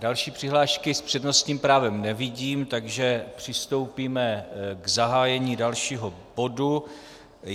Další přihlášky s přednostním právem nevidím, takže přistoupíme k zahájení dalšího bodu.